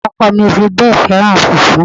Ọkọ mi ò fi bẹ́ẹ̀ fẹ́ràn fùfú